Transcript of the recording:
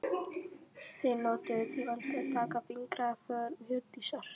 Þeir notuðu tímann til að taka fingraför Hjördísar.